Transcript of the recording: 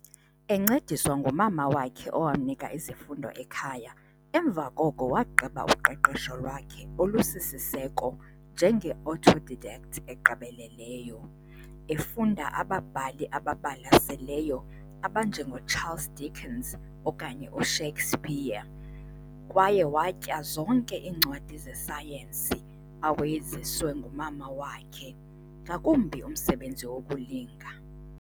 Encediswa ngumama wakhe owamnika izifundo ekhaya, emva koko wagqiba uqeqesho lwakhe olusisiseko njenge-autodidact egqibeleleyo, efunda ababhali ababalaseleyo abanjengoCharles Dickens okanye uShakespeare, kwaye watya zonke iincwadi zesayensi awayeziswe ngumama wakhe, ngakumbi umsebenzi wokulinga.